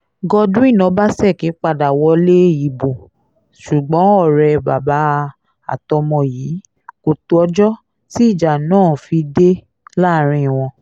godwin ọbaṣẹ́kí padà wọlé ìbò ṣùgbọ́n ọ̀rẹ́ bàbá àtọmọ yìí kò tọ́jọ́ tí ìjà ńlá fi dé láàrín wọn